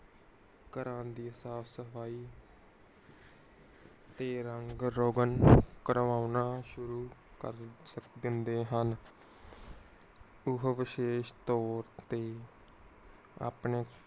ਘਰਾਂ ਦੀ ਸਾਫ ਸਫਾਈ ਤੇ ਰੰਗ ਰੋਗਣ ਕਰਵਾਉਣਾ ਸ਼ੁਰੂ ਕਰ ਦਿੰਦੇ ਹਨ। ਓਹੋ ਵਿਸ਼ੇਸ਼ ਤੋਰ ਤੇ ਆਪਣੇ